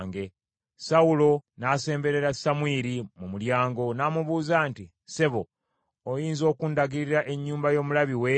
Sawulo n’asemberera Samwiri mu mulyango, n’amubuuza nti, “Ssebo oyinza okundagirira ennyumba y’omulabi w’eri?”